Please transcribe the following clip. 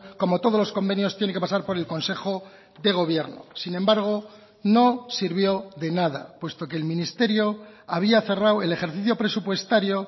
como todos los convenios tiene que pasar por el consejo de gobierno sin embargo no sirvió de nada puesto que el ministerio había cerrado el ejercicio presupuestario